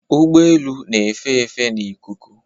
Ụgbọ elu na-efe efe n'ikuku